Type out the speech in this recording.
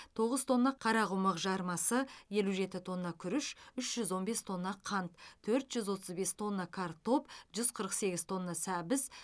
тоғыз тонна қарақұмық жармасы елу жеті тонна күріш үш жүз он бес тонна қант төрт жүз отыз бес тонна картоп жүз қырық сегіз тонна сәбіз